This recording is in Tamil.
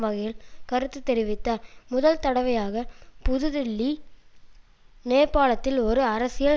வகையில் கருத்து தெரிவித்தார் முதல் தடவையாக புதுதில்லி நேபாளத்தில் ஒரு அரசியல்